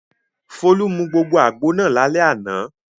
Folú mu gbogbo àgbo náà lálẹ́ àná.